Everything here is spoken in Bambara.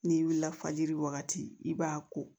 N'i wulila fajiri wagati i b'a ko